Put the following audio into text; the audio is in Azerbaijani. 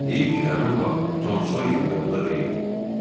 Heiv ki, həmin vaxt Tom Soyer yanımda deyildi.